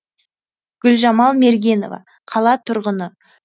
гүлжамал мергенова қала тұрғыны